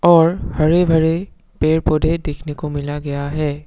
और हरे भरे पेड़ पौधे देखने को मिला गया है।